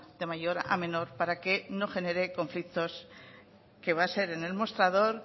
de mayor a menor para que no genere conflictos que va a ser en el mostrador